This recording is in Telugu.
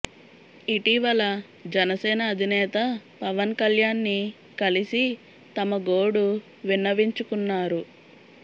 ఇటీవల జనసేన అధినేత పవన్ కళ్యాణ్ ని కలిసి తమ గోడు విన్నవించుకున్నారు